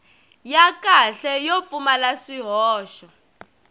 ya kahle yo pfumala swihoxo